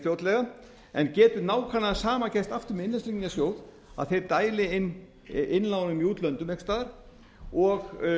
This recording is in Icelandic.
fljótlega en getur nákvæmlega það sama gerst aftur með innlánstryggingarsjóð að þeir dæli inn innlánum í útlöndum einhvers staðar og